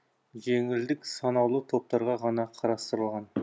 жеңілдік санаулы топтарға ғана қарастырылған